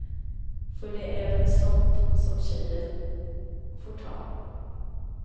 För det är väl sånt som tjejer får ta.